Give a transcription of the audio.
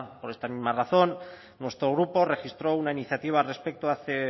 por esta misma razón nuestro grupo registró una iniciativa al respecto hace